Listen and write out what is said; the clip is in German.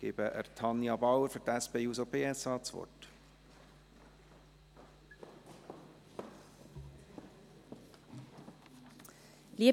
Ich gebe Tanja Bauer das Wort für die SP-JUSO-PSA-Fraktion.